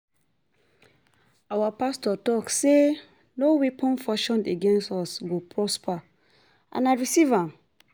Our pastor talk say no weapon fashioned against us go prosper and I receive am